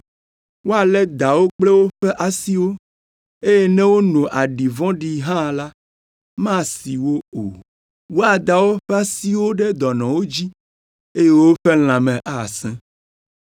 Woalé dawo kple woƒe asiwo, eye ne wono aɖi vɔ̃ɖi hã la, masi wo o. Woada woƒe asiwo ɖe dɔnɔwo dzi eye woƒe lãme asẽ.”